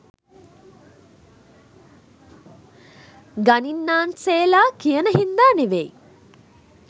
ගණින්නාන්සේලා කියන හින්දා නෙවෙයි.